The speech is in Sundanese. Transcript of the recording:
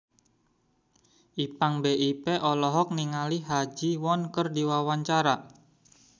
Ipank BIP olohok ningali Ha Ji Won keur diwawancara